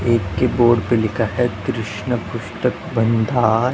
एक की बोर्ड पे लिखा है कृष्ण पुस्तक भंडार।